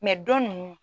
dɔ ninnu